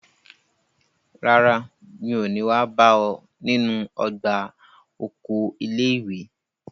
Rárá, mi ò ní wá bá ọ nínú ọgbà oko ilé ìwé.